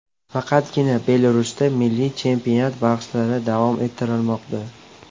Faqatgina Belarusda milliy chempionat bahslari davom ettirilmoqda .